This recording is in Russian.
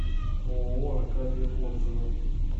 ооо аркадия отзывы